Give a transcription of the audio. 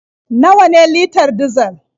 Nawa ne litar dizal?